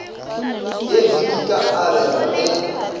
yekhwi di ka abelwa ge